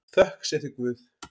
Þökk sé þér Guð.